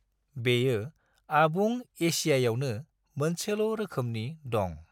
बेयो आबुं एसियायावनो मोनसेल' रोखोमनि दं।